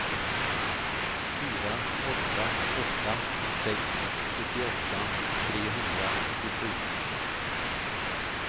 fyra åtta åtta sex sjuttioåtta trehundratjugosju